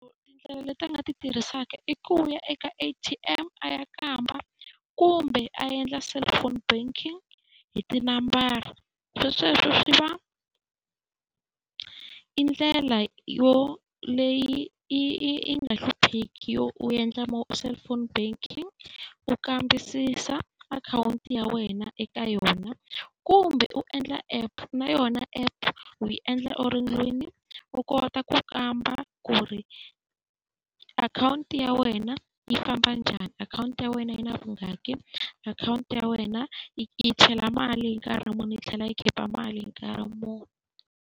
leti a nga ti tirhisaka i ku a nga ya eka A_T_M a ya kamba, kumbe a endla cellphone banking hi tinambara. Se sweswo swi va i ndlela yo leyi yi yi yi nga hlupheki yo u endla cellphone banking u kambisisa akhawunti ya wena eka yona. Kumbe u endla app, na yona app u yi endla u ri ndlwini u kota ku kamba kumbe akhawunti ya wena yi famba njani, akhawunti ya wena yi na , akhawunti yi yi chela mali hi nkarhi muni yi tlhela yi khipa mali hi nkarhi muni.